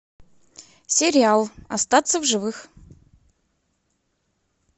сериал остаться в живых